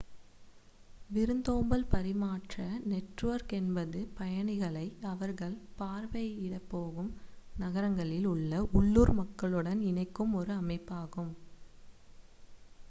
விருந்தோம்பல் பரிமாற்ற நெட்வொர்க் என்பது பயணிகளை அவர்கள் பார்வையிடப்போகும் நகரங்களில் உள்ள உள்ளூர் மக்களுடன் இணைக்கும் ஒரு அமைப்பாகும்